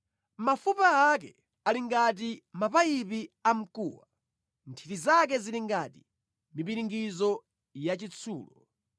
Mafupa ake ali ngati mapayipi amkuwa, nthiti zake zili ngati mipiringidzo yachitsulo.